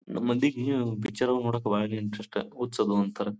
ನಮ್ಮ್ ಮಂದಿಗೆ ಪಿಚರ್ ಅದು ನೋಡ್ಲಿಕ್ಕೆ ಬಾರಿ ಇಂಟರೆಸ್ಟ್ ಹುಚ್ಚದು ಅಂತಾರೆ.